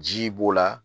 Ji b'o la